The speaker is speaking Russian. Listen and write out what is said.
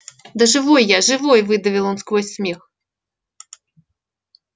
да живой я живой выдавил он сквозь смех